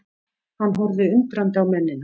Hann horfði undrandi á mennina.